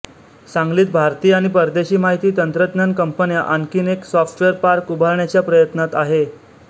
सांगलीत भारतीय आणि परदेशी माहिती तंत्रज्ञान कंपन्या आणखी एक सॉफ्टवेअर पार्क उभारण्याच्या प्रयत्नात आहे